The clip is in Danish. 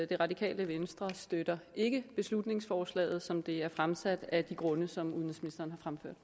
det radikale venstre støtter ikke beslutningsforslaget som det er fremsat af de grunde som udenrigsministeren